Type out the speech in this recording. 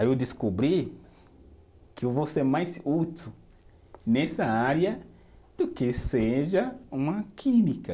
Aí eu descobri que eu vou ser mais útil nessa área do que seja uma química.